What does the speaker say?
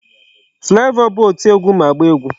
Flavor bụ oti egwu ma agba egwu.